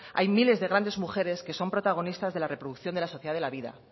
hay miles de grandes mujeres que son protagonistas de la reproducción de la sociedad de la vida